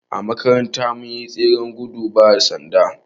A makaranta mun yi tseren gudun bada sanda